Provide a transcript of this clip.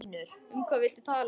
Um hvað viltu tala?